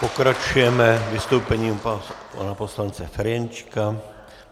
Pokračujeme vystoupením pana poslance Ferjenčíka.